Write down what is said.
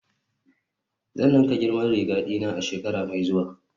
Zan ninka girman riga dina a shekara mai zuwa